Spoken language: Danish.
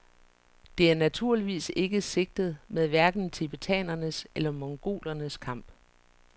Det er naturligvis ikke sigtet med hverken tibetanernes eller mongolernes kamp.